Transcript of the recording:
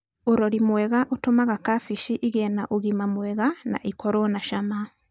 ũrori mwega ũtũmaga kabeci ĩgĩe na ũgima mwega na ĩkorwo na cama.